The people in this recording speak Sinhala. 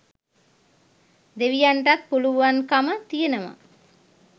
දෙවියන්ටත් පුළුවන්කම තියෙනවා